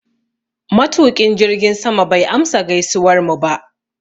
Matuƙin jirgin sama bai amsa gaisuwarmu ba.